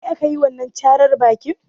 Da kai aka yi wanan càrar bakin?